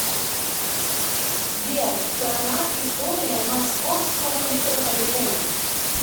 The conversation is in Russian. сбер страна история московского метрополитена